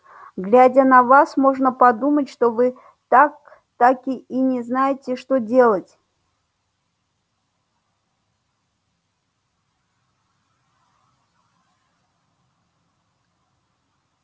глядя на вас можно подумать что вы так таки и не знаете что делать